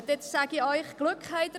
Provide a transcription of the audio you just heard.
Sie haben Glück gehabt!